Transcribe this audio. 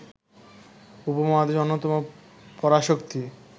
উপমহাদেশের অন্যতম পরাশক্তি